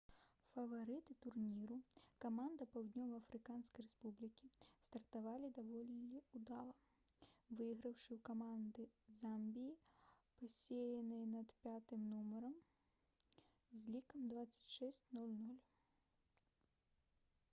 фаварыты турніру каманда паўднёва-афрыканскай рэспублікі стартавалі даволі ўдала выйграўшы ў каманды замбіі пасеянай пад 5-м нумарам з лікам 26-00